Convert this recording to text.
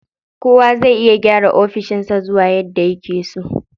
Kowa zai iya gyara ofishin sa suwa yadda yake so.